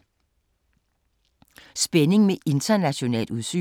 Spænding med internationalt udsyn